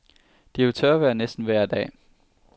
Det er jo tørvejr næsten vejr dag.